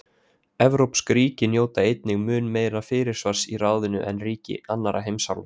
evrópsk ríki njóta einnig mun meira fyrirsvars í ráðinu en ríki annarra heimsálfa